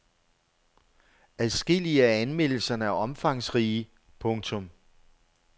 Adskillige af anmeldelserne er omfangsrige. punktum